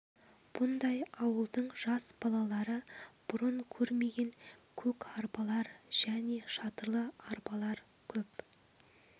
бұнда ауылдың жас балалары бұрын көрмеген көк арбалар және шатырлы арбалар көп